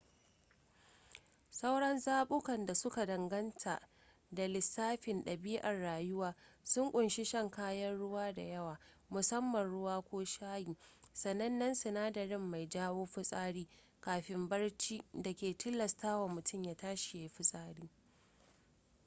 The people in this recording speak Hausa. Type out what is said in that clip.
sauran zabukan da suka danganta da lissafin ɗabi’ar rayuwa sun kunshi shan kayan ruwa da yawa musamman ruwa ko shayi sanannen sinadari mai jawo fitsari kafin barci da ke tilastawa mutum ya tashi ya yi ftisari